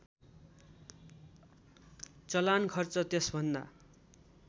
चलान खर्च त्यसभन्दा